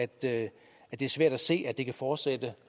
det er svært at se at det kan fortsætte